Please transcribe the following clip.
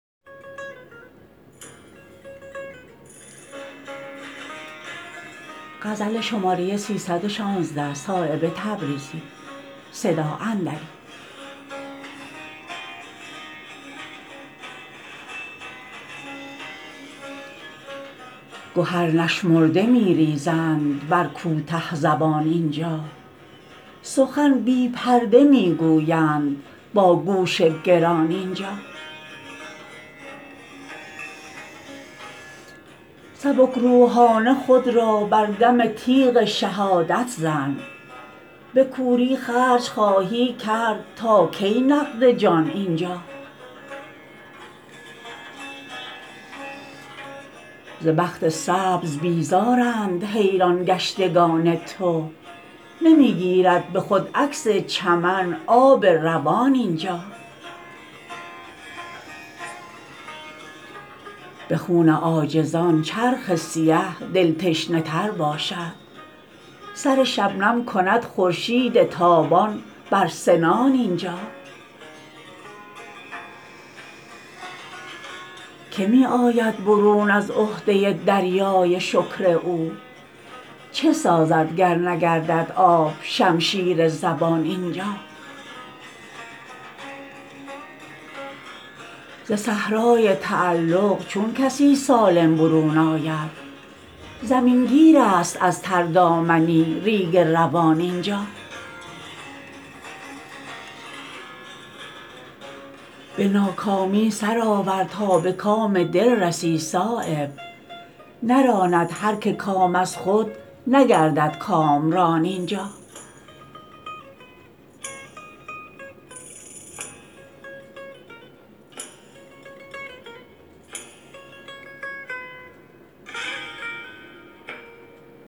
گهر نشمرده می ریزند بر کوته زبان اینجا سخن بی پرده می گویند باگوش گران اینجا سبکروحانه خود را بر دم تیغ شهادت زن به کوری خرج خواهی کرد تا کی نقدجان اینجا ز بخت سبز بیزارند حیران گشتگان تو نمی گیرد به خود عکس چمن آب روان اینجا به خون عاجزان چرخ سیه دل تشنه تر باشد سر شبنم کند خورشید تابان بر سنان اینجا که می آید برون از عهده دریای شکر او چه سازد گر نگردد آب شمشیر زبان اینجا ز صحرای تعلق چون کسی سالم برون آید زمین گیرست از تر دامنی ریگ روان اینجا به ناکامی سرآور تا به کام دل رسی صایب نراند هر که کام از خود نگردد کامران اینجا